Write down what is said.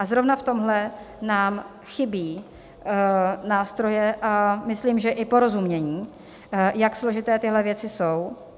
A zrovna v tomhle nám chybí nástroje a myslím, že i porozumění, jak složité tyhle věci jsou.